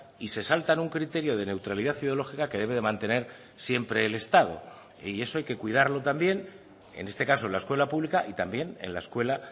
y se saltan un criterio de neutralidad ideológica que debe de mantener siempre el estado y eso hay que cuidarlo también en este caso en la escuela pública y también en la escuela